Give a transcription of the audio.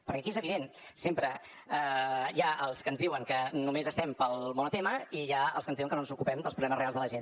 perquè aquí és evident sempre hi ha els que ens diuen que només estem pel monotema i hi ha els que ens diuen que no ens ocupem dels problemes reals de la gent